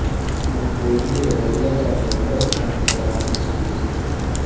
ಈ ಗುಂಪು ಇಂದಿರುವ ಎಲ್ಲ ಜಾತಿಯ ಗೊರಸು ಪ್ರಾಣಿಗಳ ಆದಿಜೀವಿ